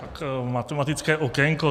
Tak matematické okénko.